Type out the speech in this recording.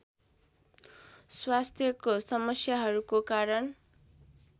स्वास्थ्यको समस्याहरूको कारण